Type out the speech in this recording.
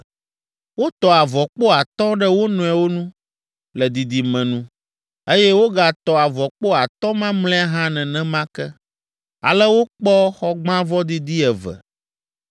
Wotɔ avɔkpo atɔ̃ ɖe wo nɔewo nu, le didime nu, eye wogatɔ avɔkpo atɔ̃ mamlɛa hã nenema ke. Ale wokpɔ xɔgbãvɔ didi eve.